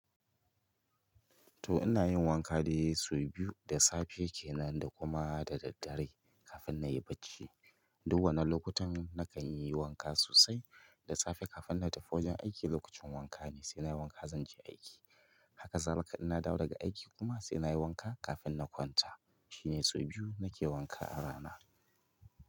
To ina yin wanka dai sau biyu, da safe kenan da kuma da daddare kafin na yi bacci. Duk wannan lokutan nakan yi wanka sosai. Da safe kafin na tafi wajen aiki lokacin wanka ne sai na yi wanka zan je aiki. Haka zalika inna dawo daga aiki kuma sai na yi wanka kafin na kwanta. Shine sau biyu nake wanka a rana.